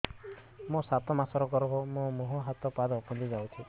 ମୋ ସାତ ମାସର ଗର୍ଭ ମୋ ମୁହଁ ହାତ ପାଦ ଫୁଲି ଯାଉଛି